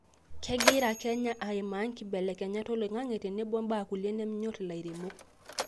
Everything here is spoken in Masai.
kegira Kenya aimaa enkibelekenyata oloing'ang'e tenebo ibaa kulie nemenyor ilairemok